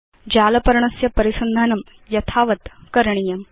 जाल पर्णस्य परिसन्धानं यथावत् करणीयम्